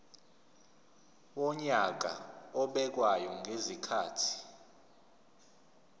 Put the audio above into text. wonyaka obekwayo ngezikhathi